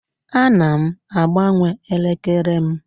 Ana m agbanwe elekere m